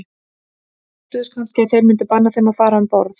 Óttuðust kannski að þeir myndu banna þeim að fara um borð.